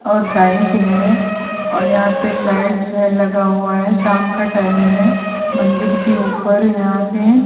और बाइक है और यहां पे लाइट है लगा हुआ है शाम का टाइम है मंदिर के ऊपर यहां पे--